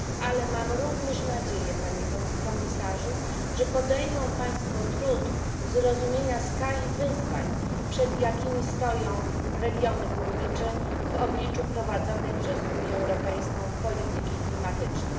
Ale mam również nadzieję, Panie Komisarzu, że podejmą państwo trud zrozumienia skali wyzwań, przed jakimi stoją regiony górnicze w obliczu prowadzonej przez Unię Europejską polityki klimatycznej.